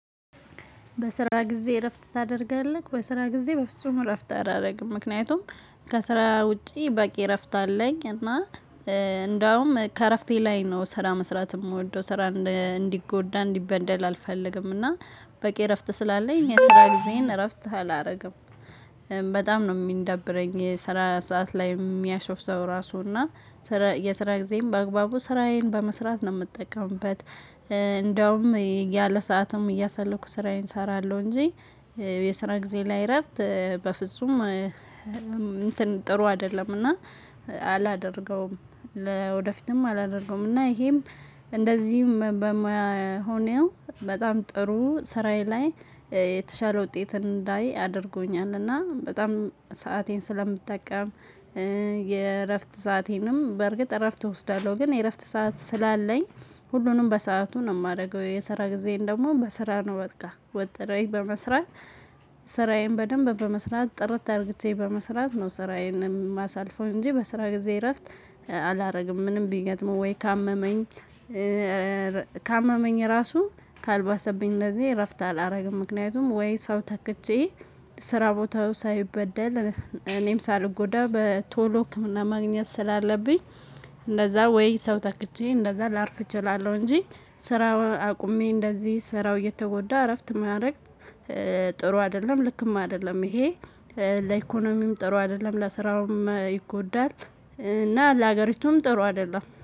በስራ ጊዜ እረፍት ታደርጋለህ? በስራ ጊዜ በፍጹም እረፍት አላደርግም። ምክንያቱም ከስራ ውጪ በቂ እረፍት አለኝ። እና እንደውም ከእረፍቴ ላይ ነው ስራ መስራት የምወደው። ስራ እንዲጎዳ እንዲበደል አልፈልግም። እና በቂ እረፍት ስላለኝ የስራ ጊዜን እረፍት አላደርግም። በጣም ነው የሚደብረኝ የሰራ ሰዓት ላይ የሚያሾፍ ሰው ራሱ። እና የስራ ጊዜም በአግባቡ ስራዬን በመስራት ነው የምጠቀምበት። እንደውም ያለ ሰዓትም እያሰለኩ ስራዬን እሰራለሁ እንጂ የስራ ጊዜ ላይ እረፍት በፍጹም ጥሩ አይደለምና አላደርገውም። ለወደፊትም አላደርገውም። እና ይሄም እንደዚህም በመሆኔ ስራዬ ላይ የተሻለ ውጤት እንዳይ ያደርጉኛል። እና በጣም ሰአቴን ስለምጠቀም የእረፍት ሰአቴንም በእርግጥ እረፍት እወስዳለሁ። ግን የእረፍት ሰዓት ስላለኝ ሁሉንም በሰአቱ ነው የማደርገው። የስራ ጊዜን ደግሞ በስራ ነው በቃ። ወጥሮ ይዞ መስራት። ስራዬን በደንብ በመስራት ጥርት አድርጌ በመስራት ነው ስራዬን የማሳልፈው እንጂ በስራ ጊዜ እረፍት አላደርግም። ምንም ቢገጥመው ወይ ካመመኝ፣ ካመመኝ ራሱ ካልባሰብኝ እንደዚህ እረፍት አላደርግም። ምክንያቱም ወይ ሰው ተክቼ ስራ ቦታው ሳይበደል እኔም ሳልጎዳ በቶሎ ህክምና ማግኘት ስላለብኝ እንደዛ ወይ ሰው ተክቼ እንደዛ ላርፍ እችላለሁ እንጂ ስራውን አቁሜ እንደዚህ ስራው እየተጎዳ እረፍት ማድረግ ጥሩ አይደለም። ልክም አይደለም ይሄ። ለኢኮኖሚም ጥሩ አይደለም። ስራውም ይጎዳል። እና ለሀገሪቱም ጥሩ አይደለም።